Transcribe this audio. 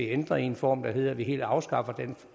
ændret i en form der hedder at vi helt afskaffer den